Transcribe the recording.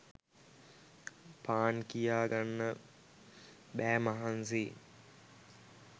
පාන් කියා ගන්න බෑ මහන්සි